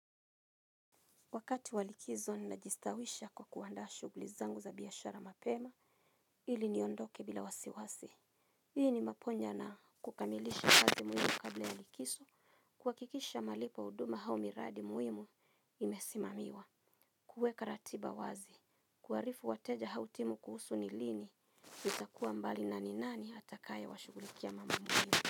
Wakati wa likizo nina jistawisha kwa kuandaa shughuli zangu za biashara mapema ili niondoke bila wasiwasi. Hii ni maponja na kukamilisha kazi muhimu kabla ya likixo. Kuhakikisha malipo huduma au miradi muhimu imesimamiwa. Kuweka ratiba wazi. Kuwaarifu wateja au timu kuhusu ni lini. Itakuwa mbali na ni nani atakaye washughulikia mambo muhimu.